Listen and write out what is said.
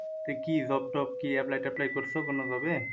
এ কি job টব কি apply ট্যাপলাই করছো কোনভাবে?